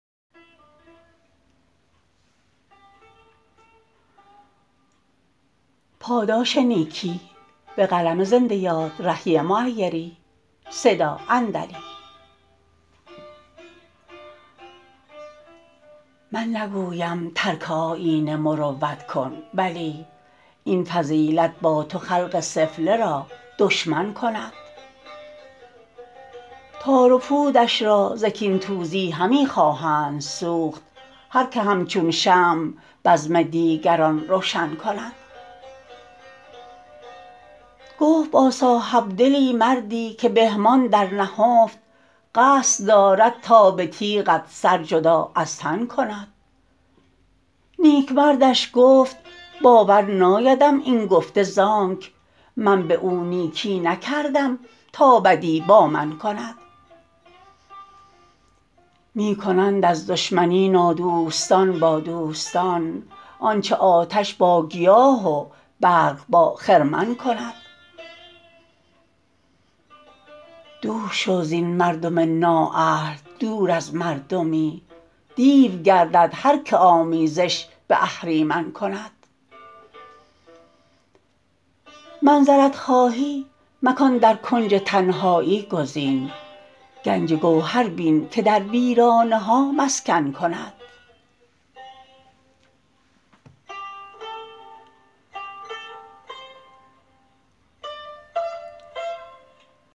من نگویم ترک آیین مروت کن ولی این فضیلت با تو خلق سفله را دشمن کند تار و پودش را ز کین توزی همی خواهند سوخت هرکه همچون شمع بزم دیگران روشن کند گفت با صاحبدلی مردی که بهمان در نهفت قصد دارد تا به تیغت سر جدا از تن کند نیک مردش گفت باور نایدم این گفته ز آنک من به او نیکی نکردم تا بدی با من کند می کنند از دشمنی نادوستان با دوستان آنچه آتش با گیاه و برق با خرمن کند دور شو زین مردم نااهل دور از مردمی دیو گردد هرکه آمیزش به اهریمن کند منزلت خواهی مکان در کنج تنهایی گزین گنج گوهر بین که در ویرانه ها مسکن کند